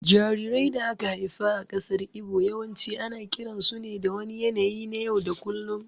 Jarirai da aka haifa a ƙasar Igbo yawanci ana kiransu ne da wani yanayi na yau da kullum